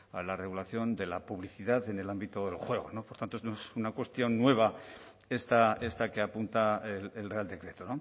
la regulación de la publicidad en el ámbito del juego por tanto es una cuestión nueva esta que apunta el real decreto